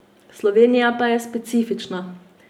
Slovenija pa je specifična.